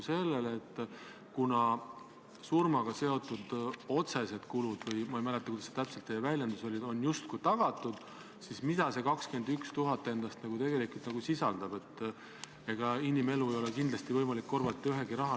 Me ei eelda ka seda, et nüüd valitsus seda kergel käel kasutaks, aga võimalus 50 kaitseväelase saatmiseks – see puudutab umbes rühmasuurust üksust – on iga kord Vabariigi Valitsusele antud ja oleks mõistlik anda see ka seekord.